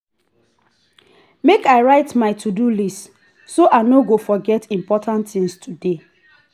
make i write my to-do list so i no go forget important things today.